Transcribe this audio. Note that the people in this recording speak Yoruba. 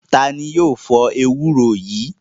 Ta ni yóò fọ ewúro yìí?